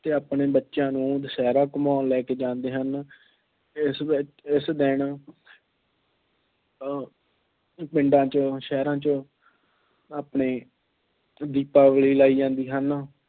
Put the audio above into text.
ਅਤੇ ਆਪਣੇ ਬੱਚਿਆਂ ਨੂੰ ਦੁਸਹਿਰਾ ਘੁੰਮਾਉਣ ਲੈ ਕੇ ਜਾਂਦੇ ਹਨ। ਇਸ ਵਿੱਚ ਇਸ ਦਿਨ ਅਹ ਪਿੰਡਾਂ ਵਿੱਚ ਸ਼ਹਿਰਾਂ 'ਚੋਂ ਆਪਣੇ ਦੀਪਾਵਲੀ ਲਾਏ ਜਾਂਦੇ ਹਨ।